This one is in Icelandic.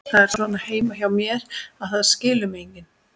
Það er svona heima hjá mér, að það skilur mig enginn.